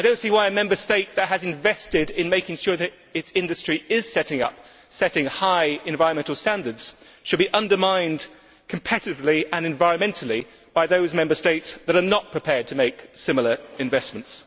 I do not see why a Member State that has invested in making sure that its industry is setting high environmental standards should be undermined competitively and environmentally by those Member States that are not prepared to make similar investments.